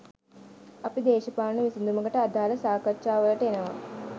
අපි දේශපාලන විසදුමකට අදාළ සාකාච්ඡා වලට එනවා